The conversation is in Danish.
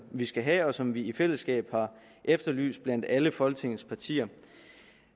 vi skal have og som vi i fællesskab har efterlyst blandt alle folketingets partier